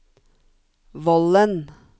Vollen